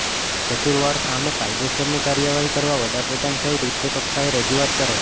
કસૂરવારો સામે કાયદેસરની કાર્યવાહી કરવા વડાપ્રધાન સહિત ઉચ્ચકક્ષાએ રજૂઆત કરાઇ